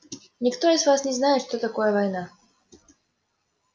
никто из вас не знает что такое война